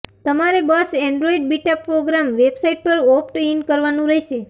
તમારે બસ Android beta program website પર ઓપ્ટ ઈન કરવાનું રહેશે